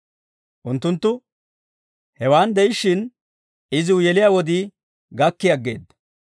Unttunttu hewaan de'ishshin iziw yeliyaa wodii gakkii aggeedda.